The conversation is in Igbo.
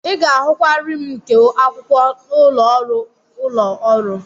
Ị ga-ahụkwa rim nke akwụkwọ n'ụlọ ọrụ ụlọ ọrụ.